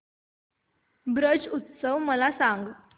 ब्रज उत्सव मला सांग